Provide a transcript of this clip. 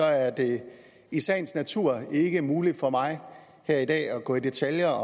er det i sagens natur ikke muligt for mig her i dag at gå i detaljer